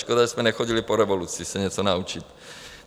Škoda, že jsme nechodili po revoluci se něco naučit.